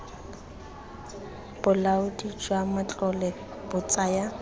bolaodi jwa matlole bo tsaya